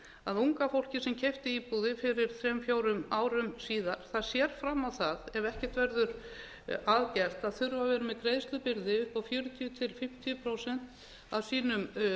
að unga fólkið sem keypti íbúðir fyrir þrem fórum árum síðan sér fram á það ef ekkert verður að gert að þurfa að vera með greiðslubyrði upp á fjörutíu til fimmtíu prósent af sínum